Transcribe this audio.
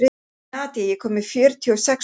Nadia, ég kom með fjörutíu og sex húfur!